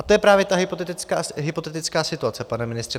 A to je právě ta hypotetická situace, pane ministře.